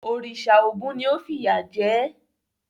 Òrìṣà Ògún ni ó fìyà jẹ ẹ́?